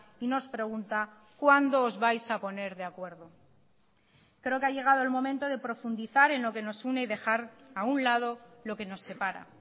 y nos pregunta cuándo os vais a poner de acuerdo creo que ha llegado el momento de profundizar en lo que nos une y dejar a un lado lo que nos separa